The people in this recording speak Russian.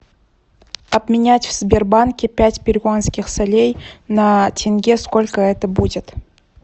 обменять в сбербанке пять перуанских солей на тенге сколько это будет